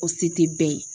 O se ti bɛɛ ye